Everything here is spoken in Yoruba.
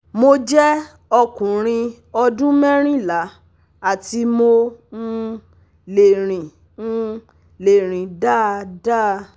Mo jẹ́ ọkùnrin ọdún merinla ati mo um le rin um le rin dáadáa